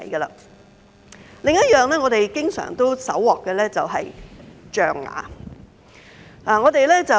另一種我們經常搜獲的是象牙。